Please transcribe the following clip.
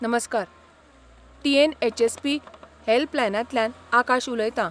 नमस्कार! टी.एन.एच.एस.पी. हॅल्पलायनांतल्यान आकाश उलयतां .